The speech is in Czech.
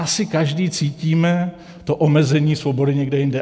Asi každý cítíme to omezení svobody někde jinde.